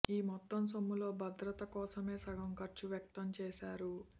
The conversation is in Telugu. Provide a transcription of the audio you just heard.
ఈ మొత్తం సొమ్ములో భద్రత కోసమే సగం ఖర్చు వ్యక్తం చేశారు